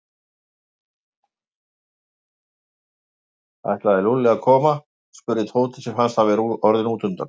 Ætlaði Lúlli að koma? spurði Tóti sem fannst hann vera orðinn útundan.